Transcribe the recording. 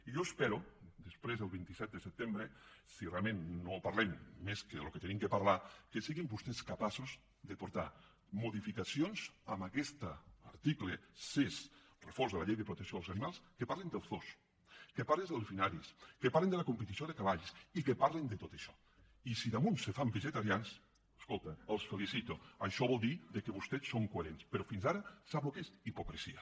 i jo espero després del vint set de setembre si realment no parlem més del que hem de parlar que siguin vostès capaços de portar modificacions a aquest article sis refós de la llei de protecció dels animals que parlin dels zoos que parlin dels delfinaris que parlin de la competició de cavalls i que parlin de tot això o si a més se fan vegetarians escolta els felicitaré això voldrà dir que vostès són coherents però fins ara sap el que és hipocresia